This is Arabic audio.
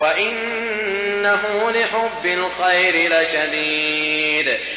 وَإِنَّهُ لِحُبِّ الْخَيْرِ لَشَدِيدٌ